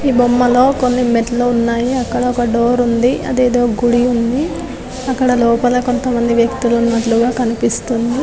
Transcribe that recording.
ఈ బొమ్మలో కొన్ని మెట్లు ఉన్నాయి అక్కడ ఒక డోర్ ఉంది అదేదో గుడి ఉంది అక్కడ లోపల కొంతమంది వ్యక్తులు ఉన్నట్లుగా కనిపిస్తుంది .